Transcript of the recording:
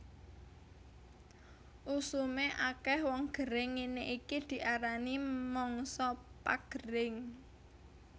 Usume akeh wong gering ngene iki diarani mangsa pagering